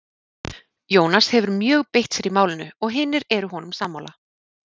Jónas hefur mjög beitt sér í málinu og hinir eru honum sammála.